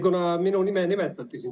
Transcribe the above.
Jah, minu nime nimetati.